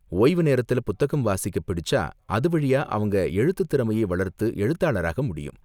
ஓய்வு நேரத்துல புத்தகம் வாசிக்க பிடிச்சா, அது வழியா அவங்க எழுத்துத் திறமைய வளர்த்து எழுத்தாளராக முடியும்.